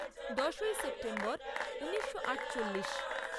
দশই সেপ্টেম্বর ঊনিশো আটচল্লিশ